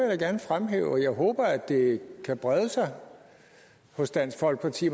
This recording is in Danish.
jeg gerne fremhæve og jeg håber at det kan brede sig hos dansk folkeparti